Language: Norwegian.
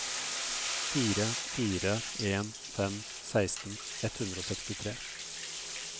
fire fire en fem seksten ett hundre og sekstitre